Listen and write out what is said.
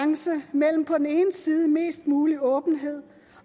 mellem på den ene side mest mulig åbenhed